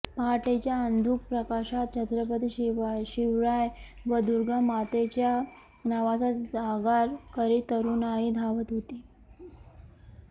पहाटेच्या अंधुक प्रकाशात छत्रपती शिवराय व दुर्गामातेच्या नावाचा जागर करीत तरूणाई धावत होती